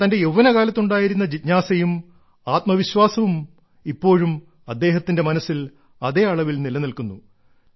എന്നാൽ തന്റെ യൌവ്വനകാലത്ത് ഉണ്ടായിരുന്ന ജിജ്ഞാസയും ആത്മവിശ്വാസവും ഇപ്പോഴും അദ്ദേഹത്തിന്റെ മനസ്സിൽ അതേ അളവിൽ നിലനിൽക്കുന്നു